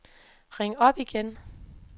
ring op igen